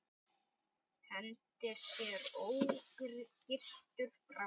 Hendir sér ógyrtur fram í.